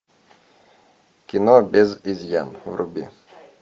кино без изъян вруби